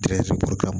kama